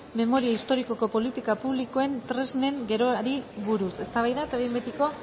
memoria historikoko politika publikoen tresnen geroari buruz eztabaida eta behin betiko